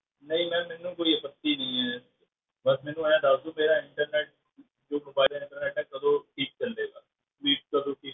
ਨਹੀਂ ma'am ਮੈਨੂੰ ਕੋਈ ਆਪੱਤੀ ਨਹੀਂ ਹੈ, ਬਸ ਮੈਨੂੰ ਇਉਂ ਦੱਸ ਦਓ ਮੇਰਾ internet ਜੋ mobile internet ਹੈ ਕਦੋਂ ਠੀਕ ਚੱਲੇਗਾ